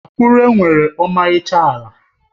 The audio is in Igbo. Akure nwere ọmarịcha ala.